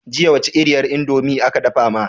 Jiya wace iriyar indomie aka dafa ma?